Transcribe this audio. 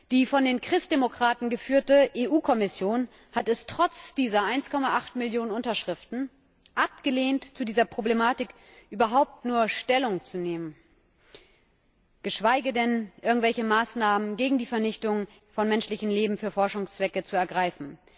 Die von den Christdemokraten geführte EU Kommission hat es trotz dieser 1,8 Millionen Unterschriften abgelehnt, zu dieser Problematik überhaupt nur Stellung zu nehmen, geschweige denn irgendwelche Maßnahmen gegen die Vernichtung von menschlichem Leben für Forschungszwecke zu ergreifen.